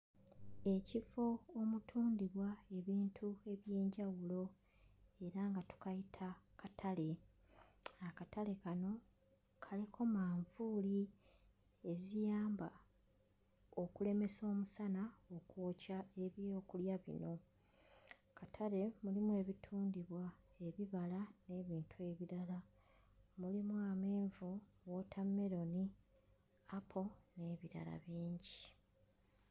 Ekifo omutundibwa ebintu eby'enjawulo era nga tukayita katale, akatale kano kaliko manvuuli eziyamba okulemesa omusana okwokya ebyokulya bino. Mu katale mulimu ebitundibwa ebibala n'ebintu ebirala, mulimu amenvu, wootammeloni, apo n'ebirala bingi.